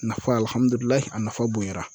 Nafa a nafa bonyara.